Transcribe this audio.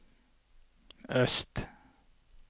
øst